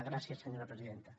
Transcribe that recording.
gràcies senyora presidenta